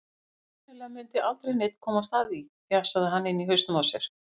Sennilega mundi aldrei neinn komast að því, fjasaði hann inni í hausnum á sér.